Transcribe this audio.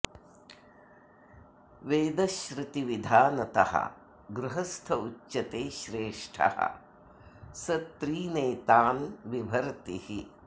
वेदश्रुतिविधानतः गृहस्थ उच्यते श्रेष्ठः स त्रीनेतान् बिभर्ति हि